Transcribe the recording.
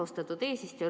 Austatud eesistuja!